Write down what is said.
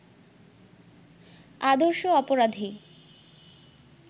আদর্শ অপরাধী